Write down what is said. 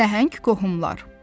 Nəhəng qohumlar.